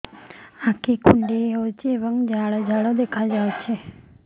ଆଖି କୁଣ୍ଡେଇ ହେଉଛି ଏବଂ ଜାଲ ଜାଲ ଦେଖାଯାଉଛି